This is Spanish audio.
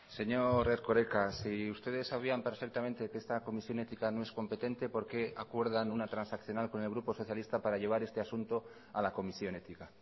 señor erkoreka si ustedes sabían perfectamente que esta comisión ética no es competente por qué acuerdan una transaccional con el grupo socialista para llevar este asunto a la comisión ética